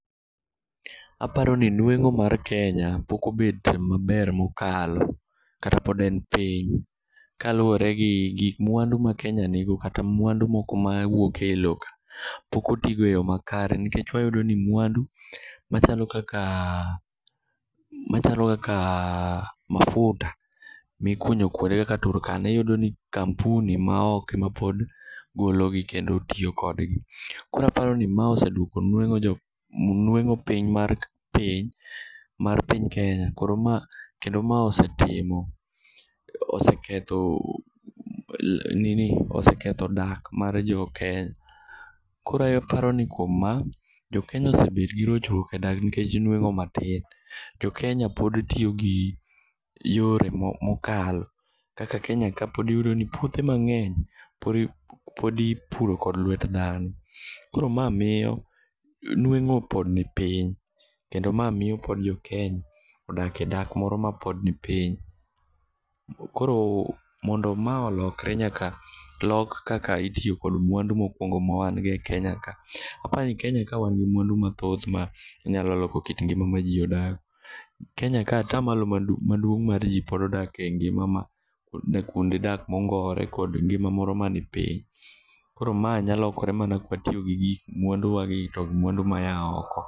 Aparo ni nweng'o mar Kenya pok obedo maber mokalo kata pod en piny kaluwore gi mwandu ma Kenya nigo kata mwandu moko mawuok e lowo ka, pok otigo e yo makare nikech wayudo ni mwandu machalo kaka mafuta mikunyo kwonde kaka Turkana, iyudo ni kampuni ma oko ema pod gologi kendo tiyo kodgi. Koro aparo ni ma osedwoko nweng'o piny mar piny mar piny Kenya. Koro ma kendo ma osetimo, oseketho dak mar jokenya. Koro aparo ni kuom mano, jokenya osebet gi rochruok e dak niwach nweng'o matin. To kenya pod tiyo gi yore mokalo kaka kenya ka pod iyudo ni puothe mang'eny pod ipuro kod lwet dhano. Koro ma miyo nweng'o pod nipiny kendo ma miyo pod jokenya odak e dak moro mapod nipiny. Koro mondo ma olokre nyaka lok kaka itiyo kod mwandu mopongo mo mawan go e Kenya ka. Apani Kenya ka wan gi mwandu mathoth manyalo loko kit ngima ma ji odak. Kenya ka atamalo maduong' mar ji pod odak e ngima ,odak kwonde dak mongowore kod ngima moro manipiny. Koro ma nyalo lokore mana kwatiyo gi gik mwanduwa to mwandu moa oko.